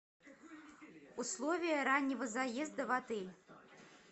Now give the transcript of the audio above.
условия раннего заезда в отель